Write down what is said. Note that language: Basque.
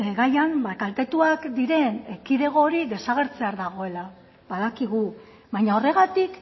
gaian kaltetuak diren kidego hori desagertzear dagoela badakigu baina horregatik